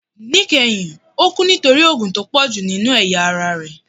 Nikẹhin o kú nítorí òógun tó pọju ninú eyá ará rẹ